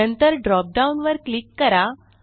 नंतर ड्रॉपडाउन वर क्लिक करा